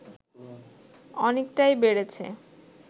অনেকটাই বেড়েছে